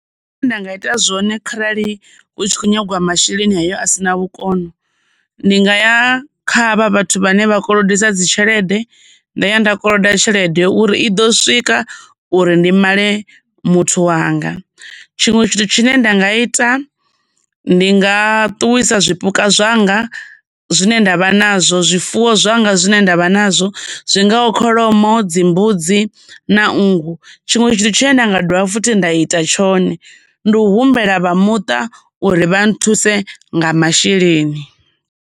Nṋe zwine nda nga ita zwone kharali hu tshi khou nyagiwa masheleni ayo a sina vhukono, ndi nga ya kha havha vhathu vhane vha kolodisa dzi tshelede nda ya nda koloda tshelede uri i ḓo swika uri ndi male muthuwanga. Tshiṅwe tshithu tshine nda nga ita ndi nga ṱuwisa zwipuka zwanga zwine ndavha nazwo, zwifuwo zwanga zwine ndavha nazwo zwi nga kholomo, dzi mbudzi na nngu, tshiṅwe tshithu tshine nda nga dovha futhi nda ita tshone ndi u humbela vha muṱa uri vha nthuse nga masheleni.